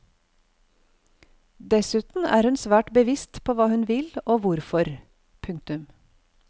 Dessuten er hun svært bevisst på hva hun vil og hvorfor. punktum